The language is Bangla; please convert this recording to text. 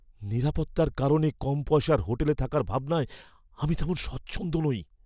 নিরাপত্তার কারণে কম পয়সার হোটেলে থাকার ভাবনায় আমি তেমন স্বচ্ছন্দ নই।